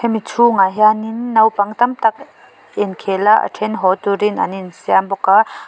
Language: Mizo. hemi chhungah hianin naupang tam tak inkhel a a then haw turin an insiam bawk a.